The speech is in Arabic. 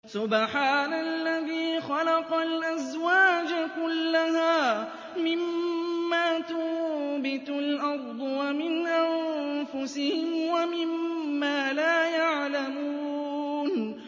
سُبْحَانَ الَّذِي خَلَقَ الْأَزْوَاجَ كُلَّهَا مِمَّا تُنبِتُ الْأَرْضُ وَمِنْ أَنفُسِهِمْ وَمِمَّا لَا يَعْلَمُونَ